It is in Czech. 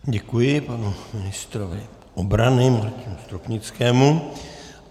Děkuji panu ministrovi obrany Martinu Stropnickému.